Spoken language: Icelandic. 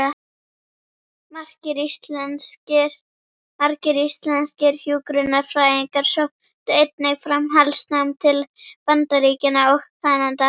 Margir íslenskir hjúkrunarfræðingar sóttu einnig framhaldsnám til Bandaríkjanna og Kanada.